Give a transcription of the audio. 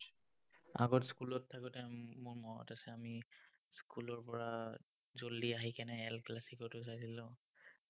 আগত school ত থাকোতে, মোৰ মনত আছে, আমি school ৰ পৰা আহি L classico টো চাইছিলো।